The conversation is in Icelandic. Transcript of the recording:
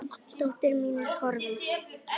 Dóttir mín er horfin.